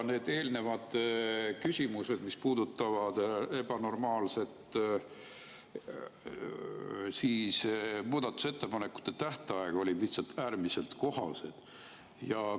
Need eelnevad küsimused, mis puudutasid ebanormaalset muudatusettepanekute tähtaega, olid lihtsalt äärmiselt kohased.